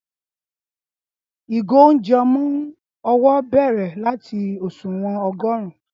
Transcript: ìgò ounjẹ ọmọ owó bèrè lati òṣùwọ̀n ogorun